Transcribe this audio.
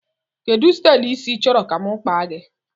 Kedụ stylu ịsị i chọrọ ka mụ kpaa gị?